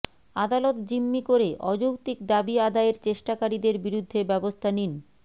আদালত জিম্মি করে অযৌক্তিক দাবি আদায়ের চেষ্টাকারীদের বিরুদ্ধে ব্যবস্থা নিন